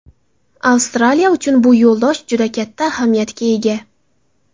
Avstraliya uchun bu yo‘ldosh juda katta ahamiyatga ega.